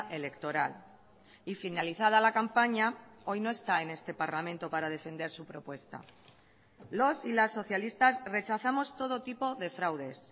electoral y finalizada la campaña hoy no está en este parlamento para defender su propuesta los y las socialistas rechazamos todo tipo de fraudes